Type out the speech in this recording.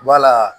Wala